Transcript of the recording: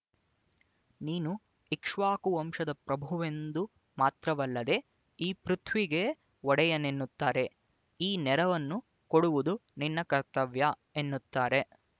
ನೀನು ಇಕ್ಷ್ವಾಕು ವಂಶದ ಪ್ರಭುವೆಂಬುದು ಮಾತ್ರವಲ್ಲದೆ ಈ ಪೃಥ್ವಿಗೇ ಒಡೆಯನೆನ್ನುತ್ತಾರೆ ಈ ನೆರವನ್ನು ಕೊಡುವುದು ನಿನ್ನ ಕರ್ತವ್ಯ ಎನ್ನುತ್ತಾರೆ